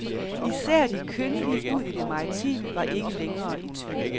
Især de kyndige ud i det maritime var ikke længere i tvivl.